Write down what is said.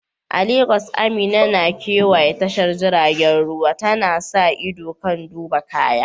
A Legas, Amina na kewaya tashar jiragen ruwa, tana sa ido kan duba kaya.